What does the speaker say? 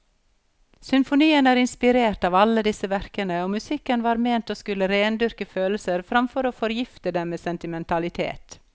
Symfonien er inspirert av alle disse verkene, og musikken var ment å skulle rendyrke følelser framfor å forgifte dem med sentimentalitet.